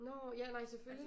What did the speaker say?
Nå ja nej selvfølgelig